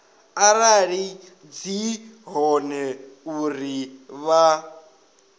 arali dzi hone uri vha